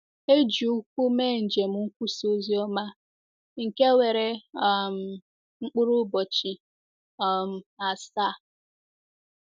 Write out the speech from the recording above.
E ji ụkwụ mee njem nkwusa ozioma, nke were um mkpụrụ ụbọchị um asaa.